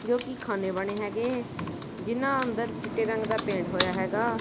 ਜੋ ਕਿ ਖਾਨੇ ਬਣੇ ਹੈਗੇ ਹੈ ਜਿਨ੍ਹਾਂ ਅੰਦਰ ਚਿੱਟੇ ਰੰਗ ਦਾ ਪੇਂਟ ਹੋਇਆ ਹੈਗਾ।